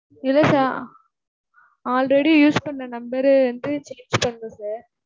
இல்ல sir already use பண்ண number ரு வந்து change பண்றேன் sir.